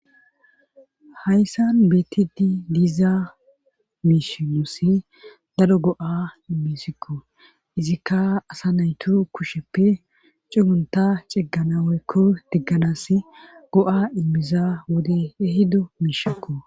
Hayssan beettidi diizaa miishinossi daro go'a immisikko izikka asa naytu kusheppe cugunta cigganawoykko digganas go'a immiza wode ehido miishakko.